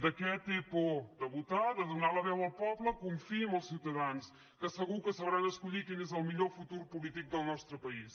de què té por de votar de donar la veu al poble confiï en els ciutadans que segur que sabran escollir quin és el millor futur polític del nostre país